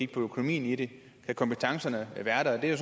på økonomien i det kan kompetencerne være der det er